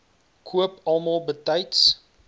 koop almal betyds